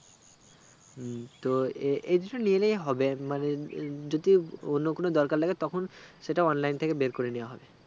হম তো এএই দুটো নিয়ে এলেই হবে মানে যদি অন্য কোনো দরকার লাগলে তখন সেটা online থেকে বের করে নিওয়া হবে